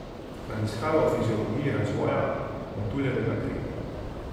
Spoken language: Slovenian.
Raziskave o fiziologiji razvoja metuljevega krila.